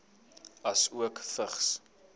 asook vigs